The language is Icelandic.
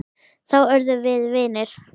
Þá urðum við vinir.